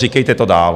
Říkejte to dál.